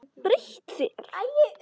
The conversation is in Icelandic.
Breytt þér.